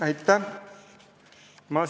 Aitäh!